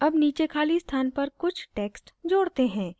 add नीचे खाली स्थान पर कुछ text जोड़ते हैं